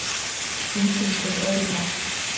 Engin skyldi öðrum lá.